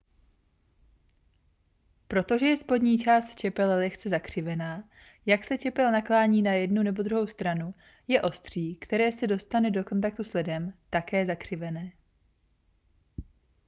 protože je spodní část čepele lehce zakřivená jak se čepel naklání na jednu nebo druhou stranu je ostří které se dostane do kontaktu s ledem také zakřivené